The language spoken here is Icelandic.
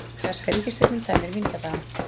Breska ríkisstjórnin tæmir vínkjallarann